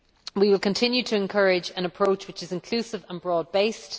We will continue to encourage an approach which is inclusive and broad based.